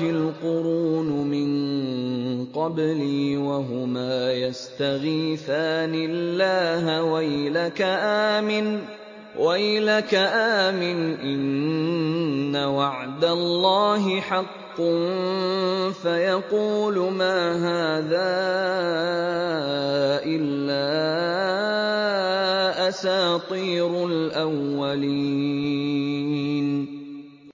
الْقُرُونُ مِن قَبْلِي وَهُمَا يَسْتَغِيثَانِ اللَّهَ وَيْلَكَ آمِنْ إِنَّ وَعْدَ اللَّهِ حَقٌّ فَيَقُولُ مَا هَٰذَا إِلَّا أَسَاطِيرُ الْأَوَّلِينَ